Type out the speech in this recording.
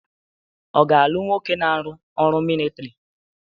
Ọ ga-alụ n woke na-arụ ọrụ militọri?